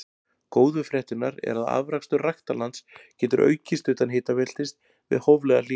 Góðu fréttirnar eru að afrakstur ræktarlands getur aukist utan hitabeltis við hóflega hlýnun.